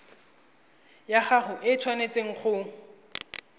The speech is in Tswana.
ya gago e tshwanetse go